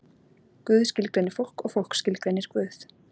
Guð skilgreinir fólk og fólk skilgreinir Guð.